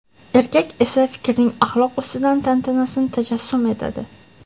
erkak esa fikrning axloq ustidan tantanasini tajassum etadi.